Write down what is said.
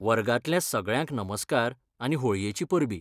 वर्गांतल्या सगळ्यांक नमस्कार आनी होळयेचीं परबीं.